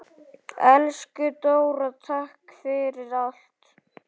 Elsku Dóra, takk fyrir allt.